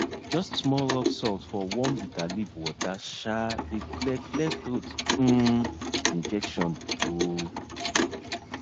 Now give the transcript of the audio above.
just small rock salt for warm bitter leaf water um dey clear clear throat um infection um